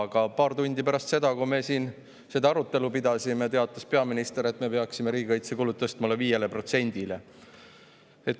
Aga paar tundi pärast seda, kui me seda arutelu siin pidasime, teatas peaminister, et me peaksime riigikaitsekulud tõstma 5%‑le.